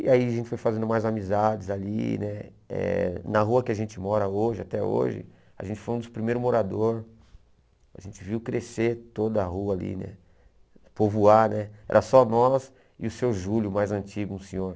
E aí a gente foi fazendo mais amizades ali, né eh na rua que a gente mora hoje, até hoje, a gente foi um dos primeiros morador, a gente viu crescer toda a rua ali né, povoar né, era só nós e o seu Júlio, o mais antigo senhor.